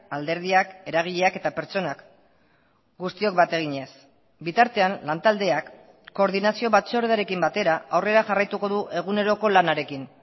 alderdiak eragileak eta pertsonak guztiok bat eginez bitartean lantaldeak koordinazio batzordearekin batera aurrera jarraituko du eguneroko lanarekin